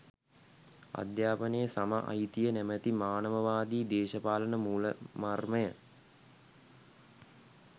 අධ්‍යාපනයේ සම අයිතිය නැමැති මානවවාදී දේශපාලන මූළමර්මය